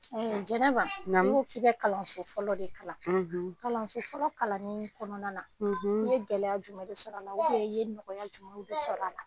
Ee Jɛnɛba , i ko k'i bɛ kalanso fɔlɔ de kalan . Kalanso fɔlɔ kalanni kɔnɔna na i ye gɛlɛya jumɛn de sɔrɔ a la? i ye nɔgɔya jumɛn sɔrɔ a la?